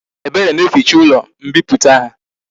Ebere na eficha ulo mpiputa ha